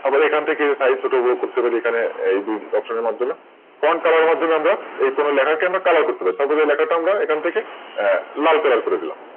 তারপর এখান থেকে Size ছোট বড় করতে পারি। এখানে এই দুই Option এর মাধ্যমে FrontColor এর মাধ্যমে আমরা কোন লেখাকে আমরা Colour করতে পারি। Suppose এই লেখাটা আমরা এখান থেকে লাল Colour করে দিলাম।